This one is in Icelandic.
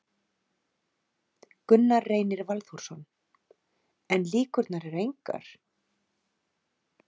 Gunnar Reynir Valþórsson: En líkurnar eru engar?